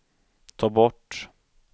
ta bort